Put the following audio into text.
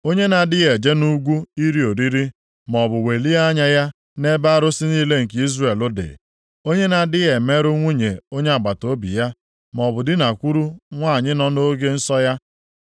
onye na-adịghị eje nʼugwu iri oriri maọbụ welie anya ya nʼebe arụsị niile nke Izrel dị, onye na-adịghị emerụ nwunye onye agbataobi ya, maọbụ dinakwuru nwanyị nọ nʼoge nsọ ya.